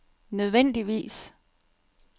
nødvendigvis